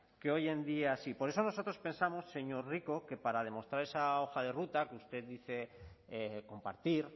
que hoy en día sí por eso nosotros pensamos señor rico que para demostrar esa hoja de ruta que usted dice compartir